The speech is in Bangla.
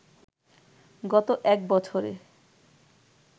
গত এক বছরে